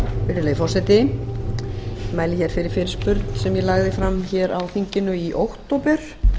virðulegi forseti ég mæli fyrir fyrirspurn sem ég lagði fram á þinginu í október